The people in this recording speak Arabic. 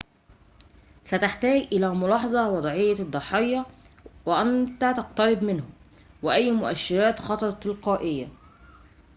ستحتاج إلى ملاحظة وضعية الضحية وأنت تقترب منه وأي مؤشرات خطر تلقائية